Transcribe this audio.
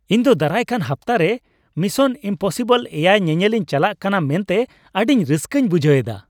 ᱤᱧ ᱫᱚ ᱫᱟᱨᱟᱭᱠᱟᱱ ᱦᱟᱯᱛᱟ ᱨᱮ ᱢᱤᱥᱚᱱ ᱤᱢᱯᱚᱥᱤᱵᱚᱞ ᱗ ᱧᱮᱧᱮᱞᱤᱧ ᱪᱟᱞᱟᱜ ᱠᱟᱱᱟ ᱢᱮᱱᱛᱮ ᱟᱹᱰᱤ ᱨᱟᱹᱥᱠᱟᱹᱧ ᱵᱩᱡᱷ ᱮᱫᱟ ᱾